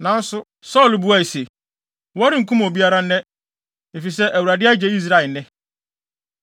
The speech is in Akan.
Nanso Saulo buae se, “Wɔrenkum obiara nnɛ, efisɛ, Awurade agye Israel nnɛ.”